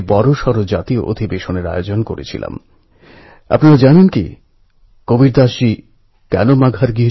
আর এই সব তরুণদের কথা আপনাদের বলতে গিয়ে আমার কবি নীরজের কথা মনে পড়ছে